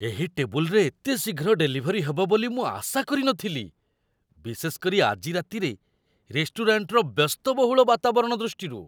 ଏହି ଟେବୁଲ୍‌ରେ ଏତେ ଶୀଘ୍ର ଡେଲିଭରି ହେବ ବୋଲି ମୁଁ ଆଶା କରିନଥିଲି, ବିଶେଷ କରି ଆଜି ରାତିରେ ରେଷ୍ଟୁରାଣ୍ଟର ବ୍ୟସ୍ତବହୁଳ ବାତାବରଣ ଦୃଷ୍ଟିରୁ।